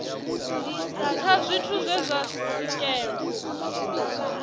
nṱha zwithu zwe zwa swikelelwa